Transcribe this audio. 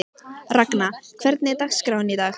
Ragna, hvernig er dagskráin í dag?